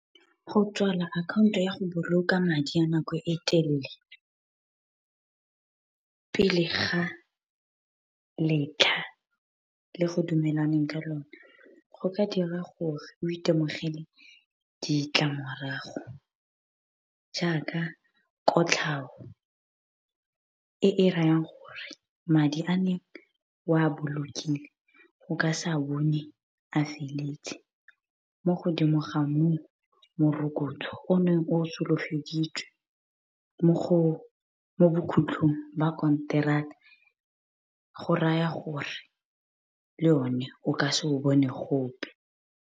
Go tswala account ya go boloka madi ya nako e telele, pele ga letlha le go dumelaneng ka lone. Go ka dira gore o itemogelo ditlamorago jaaka kotlhao e e rayang gore madi a neng wa bolokile, o ka se a bone a feletse. Mo godimo ga moo, morokotso o neng o solofeditswe mo bokhutlhong ba konteraka, go raya gore le one o ka seo bone gope.